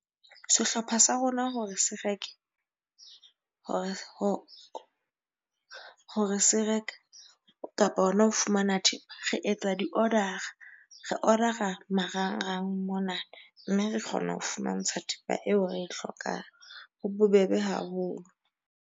Sehlopha sa rona hore se reke hore se reka kapa hona ho fumana thepa. Re etsa di-order-a, re order-a marangrang mona, mme re kgona ho fumantshwa thepa eo re hlokang. Ho bobebe haholo.